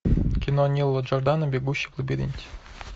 кино нила джордана бегущий в лабиринте